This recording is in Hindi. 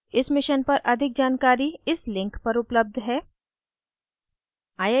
इस mission पर अधिक जानकारी इस link पर उपलब्ध है